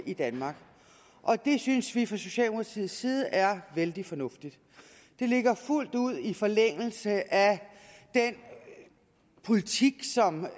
i danmark og det synes vi fra socialdemokratiets side er vældig fornuftigt det ligger fuldt ud i forlængelse af den politik som